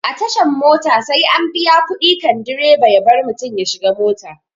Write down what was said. A tashan mota sai an biya kuɗi kan direba ya bar mutum ya shiga mota